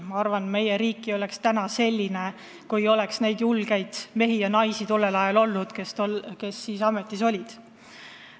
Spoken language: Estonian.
Ma arvan, meie riik ei oleks praegu selline, kui poleks olnud neid julgeid mehi ja naisi, kes siis ministriametis olid.